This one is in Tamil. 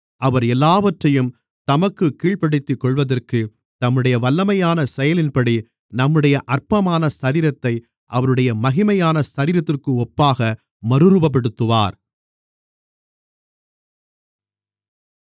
அவர் எல்லாவற்றையும் தமக்குக் கீழ்ப்படுத்திக்கொள்வதற்கு தம்முடைய வல்லமையான செயலின்படி நம்முடைய அற்பமான சரீரத்தை அவருடைய மகிமையான சரீரத்திற்கு ஒப்பாக மறுரூபப்படுத்துவார்